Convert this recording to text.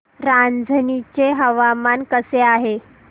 रांझणी चे हवामान कसे आहे